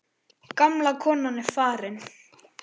Gamla konan er farin.